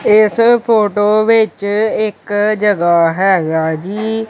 ਇਸ ਫੋਟੋ ਵਿੱਚ ਇੱਕ ਜਗਹਾ ਹੈਗਾ ਜੀ।